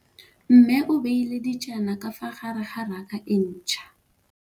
Mmê o beile dijana ka fa gare ga raka e ntšha.